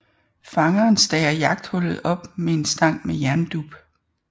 Fangeren stager jagthullet op med en stang med jerndup